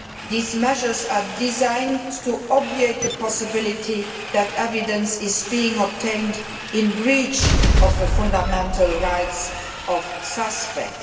These measures are designed to obviate the possibility that evidence is being obtained in breach of the fundamental rights of suspects.